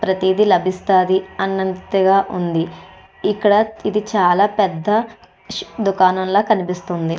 ప్రతీదీ లభిస్తాది అన్నంతగా ఉంది ఇక్కడ ఇది చాలా పెద్ద ష్ దుకాణం లా కనిపిస్తుంది.